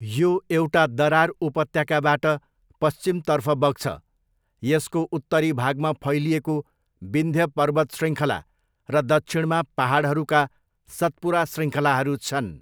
यो एउटा दरार उपत्यकाबाट पश्चिमतर्फ बग्छ, यसको उत्तरी भागमा फैलिएको विन्ध्य पर्वत शृङ्खला र दक्षिणमा पाहाडहरूका सतपुरा शृङ्खलाहरू छन्।